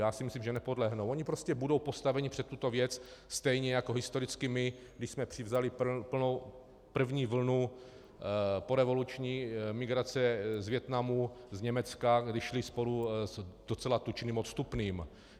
Já si myslím, že nepodlehnou, oni prostě budou postaveni před tuto věc stejně jako historicky my, když jsme převzali první vlnu porevoluční migrace z Vietnamu, z Německa, kdy šli spolu s docela tučným odstupným.